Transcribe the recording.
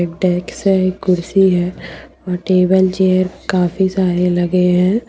कुर्सी है और टेबल चेयर काफी सारे लगे हैं।